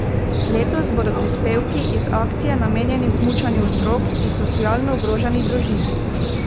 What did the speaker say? Letos bodo prispevki iz akcije namenjeni smučanju otrok iz socialno ogroženih družin.